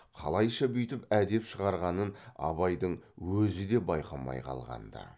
қалайша бүйтіп әдеп шығарғанын абайдың өзі де байқамай қалған ды